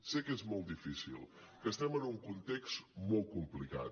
sé que és molt difícil que estem en un context molt complicat